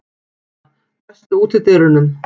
Nóra, læstu útidyrunum.